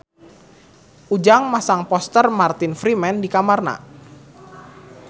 Ujang masang poster Martin Freeman di kamarna